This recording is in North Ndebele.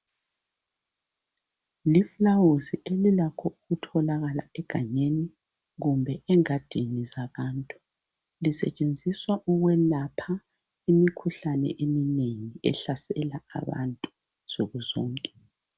Lifulawuzi elilakho ukutholaka egangeni kumbe engadini zabantu lisetshenziswa ukwelapha imikhuhlane eminengi ehlasela abantu nsukuzonke.